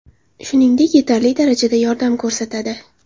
Shuningdek, yetarli darajada yordam ko‘rsatadi.